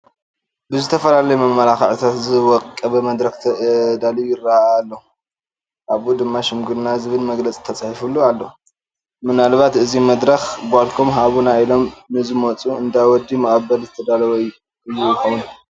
ብዝተፈላለዩ መመላክዕታት ዝወቀበ መድረኽ ተዳልዩ ይርአ ኣሎ፡፡ ኣብኡ ድማ ሽምግልና ዝብል መግለፂ ተፃሒፉሉ ኣሎ፡፡ ምናልባት እዚ መድረኽ ጓልኩም ሃቡና ኢሎም ንዝመፁ እንዳ ወዲ መቐበሊ ዝተዳለወ እዩ ዝኾን፡፡